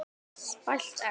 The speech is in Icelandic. Spælt egg.